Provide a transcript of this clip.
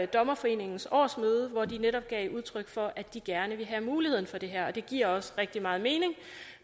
dommerforeningens årsmøde hvor de netop gav udtryk for at de gerne ville have muligheden for det her og det giver også rigtig meget mening